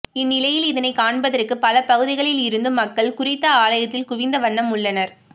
இந்நிலையில் இதனை காண்பதற்கு பல பகுதிகளில் இருந்தும் மக்கள் குறித்த ஆலயத்தில் குவிந்த வண்ணம் உள்ளனர்